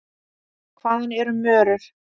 Hvað eru mörur?